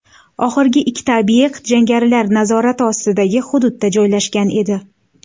Oxirgi ikkita obyekt jangarilar nazorati ostidagi hududda joylashgan edi.